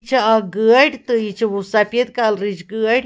.یہِ چھ اکھ گٲڑۍتہٕ یہِ چھ وسفید کلرٕچ گٲڑۍ